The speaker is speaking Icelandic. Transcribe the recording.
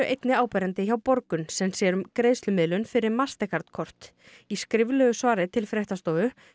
einnig áberandi hjá Borgun sem sér um greiðslumiðlun fyrir kort í skriflegu svari til fréttastofu